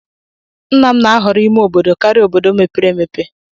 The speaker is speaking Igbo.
Nna m na-ahọrọ ime obodo karịa obodo mepere emepe.